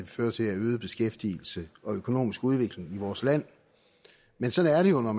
føre til af øget beskæftigelse og økonomisk udvikling i vores land men sådan er det jo når